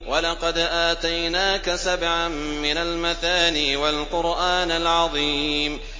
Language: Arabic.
وَلَقَدْ آتَيْنَاكَ سَبْعًا مِّنَ الْمَثَانِي وَالْقُرْآنَ الْعَظِيمَ